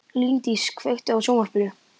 Líndís, kveiktu á sjónvarpinu.